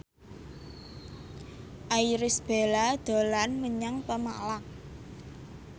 Irish Bella dolan menyang Pemalang